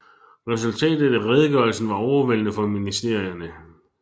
Resultatet af redegørelsen var overvældende for ministerierne